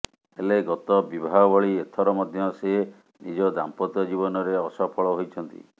ହେଲେ ଗତ ବିବାହ ଭଳି ଏଥର ମଧ୍ୟ ସେ ନିଜ ଦାମ୍ପତ୍ୟ ଜୀବନରେ ଅସଫଳ ହୋଇଛନ୍ତି